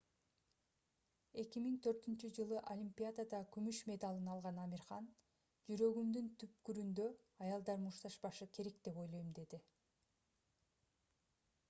2004-ж олимпиадада күмүш медалын алган амир хан жүрөгүмдүн түпкүрүндө аялдар мушташпашы керек деп ойлойм - деди